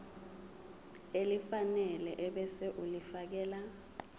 elifanele ebese ulifiakela